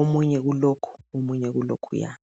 omunye kulokhu, omunye kulokhuyana.